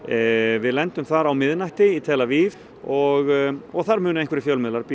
við lendum þar á miðnætti í tel Aviv og og þar munu einhverjir fjölmiðlar bíða